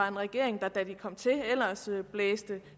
en regering der da den kom til ellers blæste